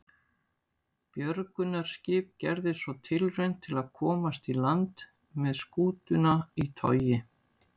Björgunarskip gerði svo tilraun til að komast í land með skútuna í togi.